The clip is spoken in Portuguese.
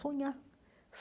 Sonhar.